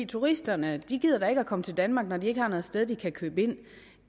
turisterne gider da ikke komme til danmark når de ikke har noget sted de kan købe ind